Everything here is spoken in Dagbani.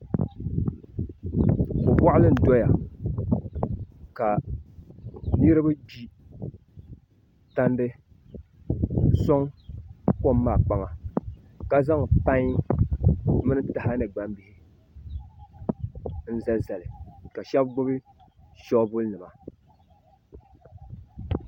Boɣali n diya ka niraba gbi tandi n soŋ kom maa kpaŋa ka zaŋ pai mini taha ni gbambihi n zalizali ka shab gbubi shoovuli nima